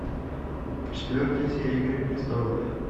четвертая серия игры престолов